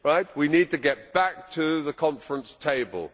We need to get back to the conference table.